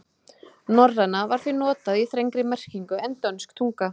Norræna var því notað í þrengri merkingu en dönsk tunga.